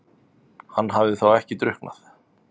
Hann hafði þá ekki drukknað?